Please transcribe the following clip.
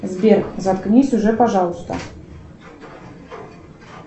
сбер заткнись уже пожалуйста